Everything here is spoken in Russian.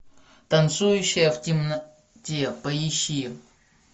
танцующая в темноте поищи